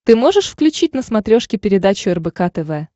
ты можешь включить на смотрешке передачу рбк тв